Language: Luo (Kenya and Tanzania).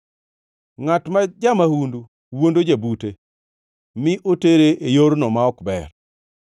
Ngʼat ma ja-mahundu wuondo jabute mi otere e yorno ma ok ber.